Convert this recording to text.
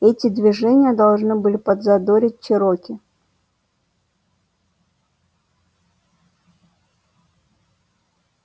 эти движения должны были подзадорить чероки